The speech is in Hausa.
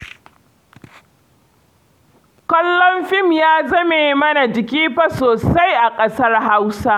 Kallon fim ya zame mana jiki fa sosai a ƙasar Hausa